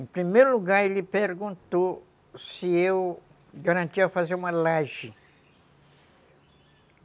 Em primeiro lugar, ele perguntou se eu garantia fazer uma laje.